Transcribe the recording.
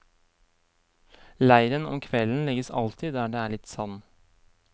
Leiren om kvelden legges alltid der det er litt sand.